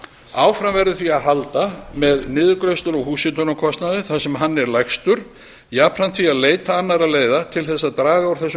áfram verður því að halda með niðurgreiðslur á húshitunarkostnaði þar sem hann er lægstur jafnframt því að leita annarra leiða til þess að draga úr þessum